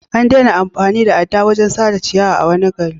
An daina amfani da adda wurin sare ciyawa a wani gari.